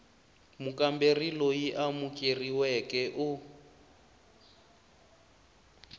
mukamberi loyi a amukeriweke u